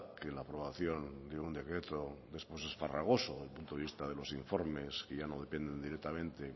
que la aprobación de un decreto es farragoso de un punto de vista de los informes que ya no dependen directamente